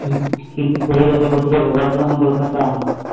কি কি ফেলে যেতে করতে পারবে, বর্তমানে কলকাতা